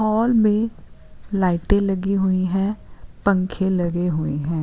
और भी लाइटे लगी हुई हैं पंखे लगे हुए हैं।